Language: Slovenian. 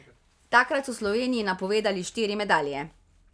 Takrat so Sloveniji napovedali štiri medalje.